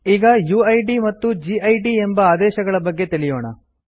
ಈಗ ಯುಐಡಿ ಮತ್ತು ಗಿಡ್ ಎಂಬ ಆದೇಶಗಳ ಬಗ್ಗೆ ತಿಳಿಯೋಣ